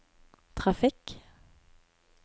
trafikk